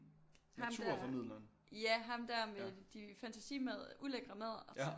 Ham der ja ham der med de fantasimadder ulækre madder og så